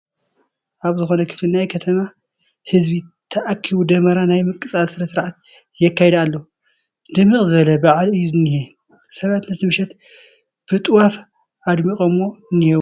ኣብ ዝኾነ ክፍሊ ናይ ከተማ ህዝቢ ተኣኪቡ ደመራ ናይ ምቅፃል ስነ ስርዓት የካይድ ኣሎ፡፡ ድምቕ ዝበለ በዓል እዩ ዝኔሀ፡፡ ሰባት ነቲ ምሸት ብጥዋፍ ኣድሚቖሞ እኔዉ፡፡